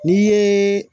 N'i ye